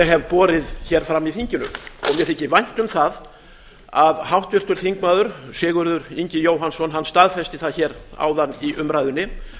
hef borið hér fram í þinginu og mér þykir vænt um það að háttvirtur þingmaður sigurður ingi jóhannsson staðfesti það hér áðan í umræðunni